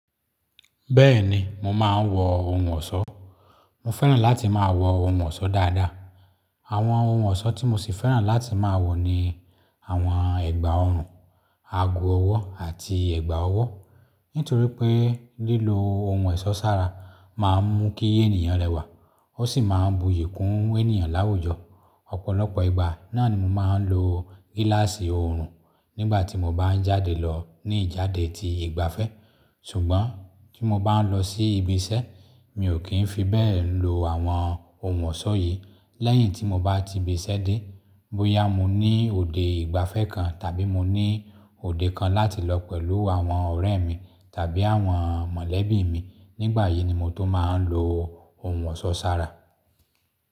Bẹ́ẹ̀ni, mo máa ń wọ ohun ọ̀ṣọ́. Mo fẹ́ràn láti máa wọ ohun ọ̀ṣọ́ dáadáa. Àwọn ohun ọ̀ṣọ́ tí mo sì fẹ́ràn láti máa wọ ni àwọn ẹ̀gbà ọrùn, ago ọwọ́ àti ẹ̀gbà ọwọ́. Nítorí pé lílo ohun èṣọ́ sára máa ń mú kí ènìyàn rẹwà, ó sì máa ń buyì kún ènìyàn láwùjọ. Ọ̀pọ̀lọpọ̀ ìgbà náà ni mo máa ń lo gíláàsì ọrùn nígbà tí mo bá ń jáde lọ ní ìjáde ti ìgbafẹ́. Ṣùgbọ́n tí mo bá ń lọ sí ibi iṣẹ́, mi ò kí ń fi bẹ́ẹ̀ ń lo àwọn ohun ọ̀ṣọ́ yìí. Lẹ́yìn tí mo bá ti ibi iṣẹ́ dé, bóyá mo ní òde ìgbafẹ́ kan tàbí mo ní òde kan láti lọ pẹ̀lú àwọn ọ̀rẹ́ mi tàbí àwọn mọ̀lẹ́bí mi, nígbà yìí ni mo tó máa ń lo ohun ọ̀ṣọ́ sára.